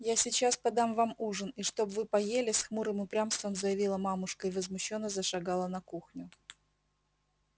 я сейчас подам вам ужин и чтоб вы поели с хмурым упрямством заявила мамушка и возмущённо зашагала на кухню